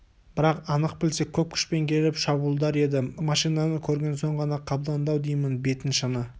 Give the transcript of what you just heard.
бірақ анық білсе көп күшпен келіп шабуылдар еді машинаны көрген соң ғана қамданды-ау деймін бетін шыны